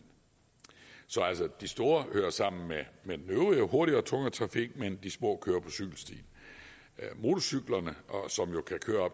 så de store kører sammen med den øvrige hurtigere og tungere trafik mens de små kører på cykelstien motorcyklerne som jo kan køre